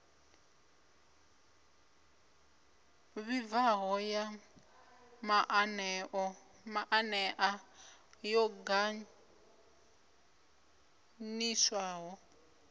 vhibvaho ya maanea yo ganḓiswaho